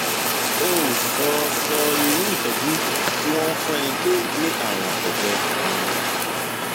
o ò sọ sọ irú ìtọjú tí wọn ń fún ẹni tó ní ààrùn àtọgbẹ um